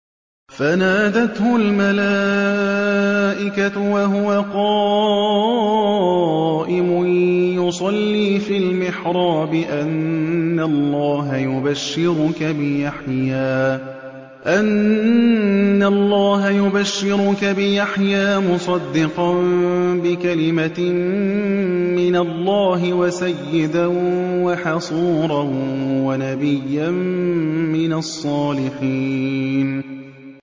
فَنَادَتْهُ الْمَلَائِكَةُ وَهُوَ قَائِمٌ يُصَلِّي فِي الْمِحْرَابِ أَنَّ اللَّهَ يُبَشِّرُكَ بِيَحْيَىٰ مُصَدِّقًا بِكَلِمَةٍ مِّنَ اللَّهِ وَسَيِّدًا وَحَصُورًا وَنَبِيًّا مِّنَ الصَّالِحِينَ